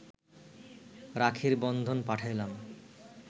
রাখির বন্ধন পাঠাইলাম